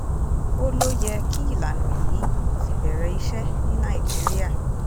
ó ló yẹ kí ìlànà yìí ti bẹ̀rẹ̀ iṣẹ́ ní nàìjíríà